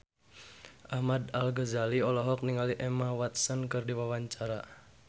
Ahmad Al-Ghazali olohok ningali Emma Watson keur diwawancara